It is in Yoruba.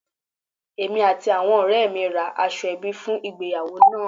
Èmi àti àwọn òré mi ra aṣọ ẹbí fun ìgbéyàwó náà àn